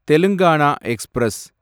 Telangana express